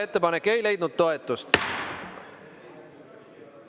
Ettepanek ei leidnud toetust.